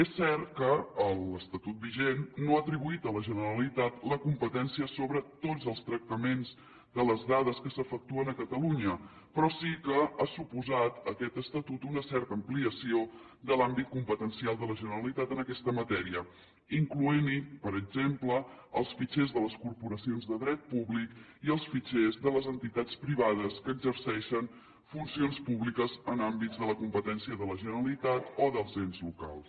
és cert que l’estatut vigent no ha atribuït a la generalitat la competència sobre tots els tractaments de les dades que s’efectuen a catalunya però sí que ha suposat aquest estatut una certa ampliació de l’àmbit competencial de la generalitat en aquesta matèria incloent hi per exemple els fitxers de les corporacions de dret públic i els fitxers de les entitats privades que exerceixen funcions públiques en àmbits de la competència de la generalitat o dels ens locals